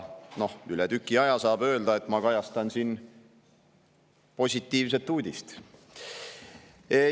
Üle tüki aja saab öelda, et ma kajastan siin positiivset uudist.